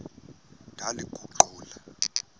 ndaliguqula